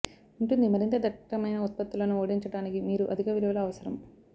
ఉంటుంది మరింత దట్టమైన ఉత్పత్తులను ఓడించటానికి మీరు అధిక విలువలు అవసరం